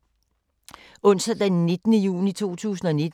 Onsdag d. 19. juni 2019